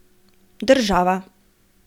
Država.